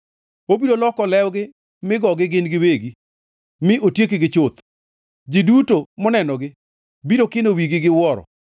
Obiro loko lewgi mi gogi gin giwegi mi otiekgi chuth; ji duto monenogi biro kino wigi gi wuoro.